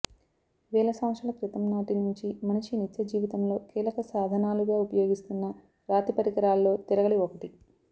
వేల సంవత్సరాల క్రితంనాటి నుంచి మనిషి నిత్యజీవితంలో కీలక సాధనాలుగా ఉపయోగిస్తున్న రాతి పరికరాలలో తిరగలి ఒకటి